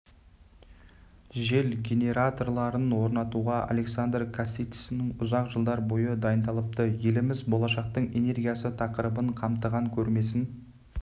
жел генераторларын орнатуға александр касицын ұзақ жылдар бойы дайындалыпты еліміз болашақтың энергиясы тақырыбын қамтыған көрмесін